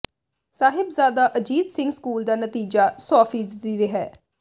Sahibzada Ajit Singh school ਦਾ ਨਤੀਜਾ ਸੌ ਫ਼ੀਸਦੀ ਰਿਹੈ